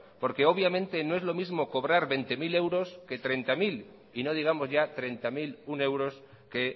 porque obviamente no es lo mismo cobrar veinte mil que treinta mil y no digamos ya treinta mil uno euros que